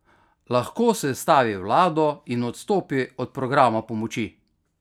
Lahko sestavi vlado in odstopi od programa pomoči?